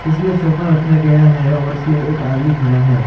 इसमें सोफा रखा गया है और इसमें एक आदमी खड़ा है।